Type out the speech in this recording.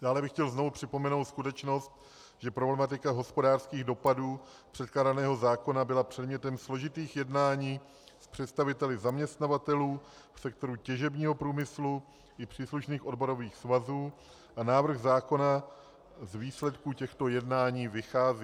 Dále bych chtěl znovu připomenout skutečnost, že problematika hospodářských dopadů předkládaného zákona byla předmětem složitých jednání s představiteli zaměstnavatelů v sektoru těžebního průmyslu i příslušných odborových svazů a návrh zákona z výsledků těchto jednání vychází.